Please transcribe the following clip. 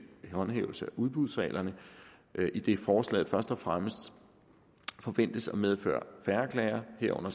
håndhævelse af udbudsreglerne idet forslaget først og fremmest forventes at medføre færre klager herunder